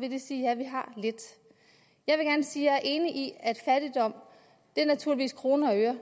vil det sige ja vi har lidt jeg vil gerne sige er enig i at fattigdom naturligvis kroner og øre